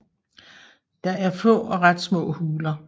Der er er få og ret små huler